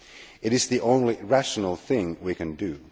It is the only rational thing we can do.